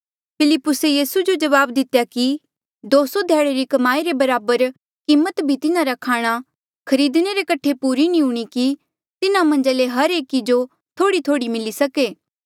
फिलिप्पुसे यीसू जो जवाब दितेया कि दो सौ ध्याड़े री कमाई रे बराबर कीमत भी तिन्हारे खाणा खरीदणे रे कठे पूरी नी हूणीं कि तिन्हा मन्झा ले हर एकी जो थोड़ीथोड़ी मिली सके